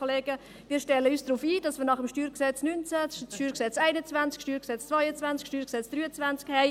Ja, wir stellen uns darauf ein, dass wir nach dem StG 19 das StG 21, das StG 22 und StG 23 haben werden.